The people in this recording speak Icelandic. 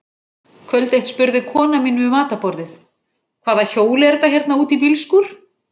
Kvöld eitt spurði konan mín við matarborðið: Hvaða hjól er þetta hérna út í bílskúr?